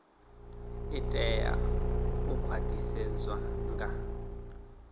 i tea u khwaṱhisedzwa nga